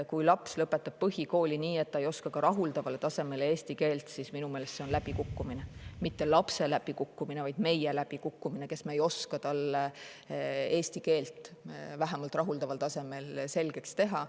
Kui laps lõpetab põhikooli nii, et ta ei oska ka rahuldaval tasemel eesti keelt, siis minu meelest see on läbikukkumine – mitte lapse läbikukkumine, vaid meie läbikukkumine, kes me ei oska talle eesti keelt vähemalt rahuldaval tasemel selgeks teha.